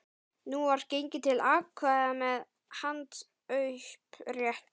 Nú var gengið til atkvæða með handauppréttingu.